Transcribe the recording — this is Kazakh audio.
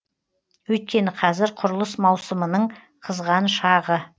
өйткені қазір құрылыс маусымының қызған шағы